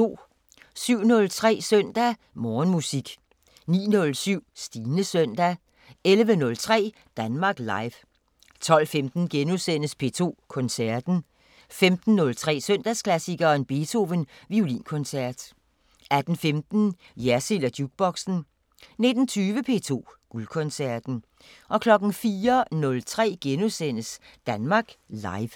07:03: Søndag Morgenmusik 09:07: Stines Søndag 11:03: Danmark Live 12:15: P2 Koncerten * 15:03: Søndagsklassikeren – Beethoven: Violinkoncert 18:15: Jersild & Jukeboxen 19:20: P2 Guldkoncerten 04:03: Danmark Live *